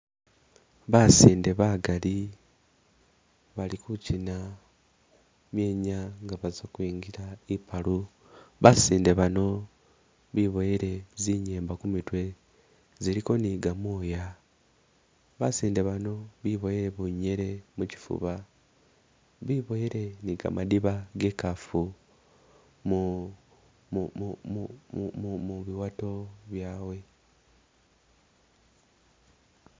Basinde bagaali bali ku china myenya nga baza kwingila ipaalu, basinde baano beboyele zinyemba kumitwe ziliko ne gamoya, basinde baano beboyele bunyele muchifuba, biboyele ne gamadiba ge ikaafu mu mu mu mu mu biwato byawe.